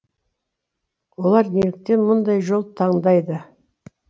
олар неліктен мұндай жол таңдайды